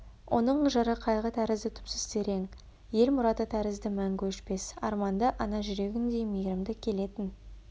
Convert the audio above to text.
оның жыры қайғы тәрізді түпсіз терең ел мұраты тәрізді мәңгі өшпес арманды ана жүрегіндей мейірімді келетін